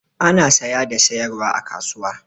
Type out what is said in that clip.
Ana saya da sayarwa a kasuwa.